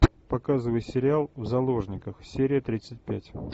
показывай сериал в заложниках серия тридцать пять